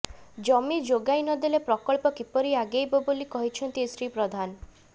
ଜମି ଯୋଗାଇ ନଦେଲେ ପ୍ରକଳ୍ପ କିପରି ଆଗେଇବ ବୋଲି କହିଛନ୍ତି ଶ୍ରୀ ପ୍ରଧାନ